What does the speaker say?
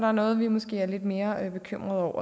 er noget vi måske er lidt mere bekymrede